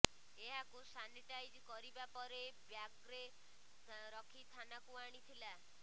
ଏହାକୁ ସାନିଟାଇଜ କରିବା ପରେ ବ୍ୟାଗ୍ରେ ରଖି ଥାନାକୁ ଆଣିଥିଲା